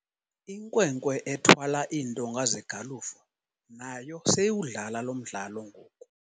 Inkwenkwe ethwala iintonga zegalufu nayo seyiwudlala lo mdlalo ngoku.